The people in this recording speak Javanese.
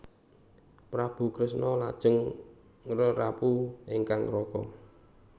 Prabu Kresna lajeng ngrerapu ingkang raka